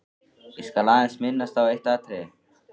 Ég skal aðeins minnast á eitt atriði.